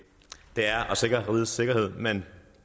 det er at sikre rigets sikkerhed men